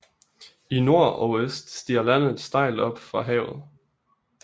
I nord og øst stiger landet stejlt op fra havet